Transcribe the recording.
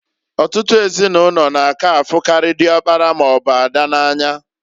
Ọtụtụ ezinụlọ n'aka afukari diokpara maọbụ ada n'anya.